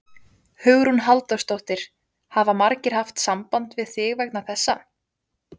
Hugrún Halldórsdóttir: Hafa margir haft samband við þig vegna þessa?